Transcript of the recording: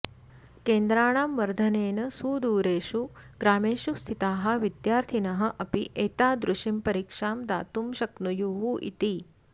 केन्द्राणां वर्धनेन सुदूरेषु ग्रामेषु स्थिताः विद्यार्थिनः अपि एतादृशीं परीक्षां दातुं शक्नुयुः इति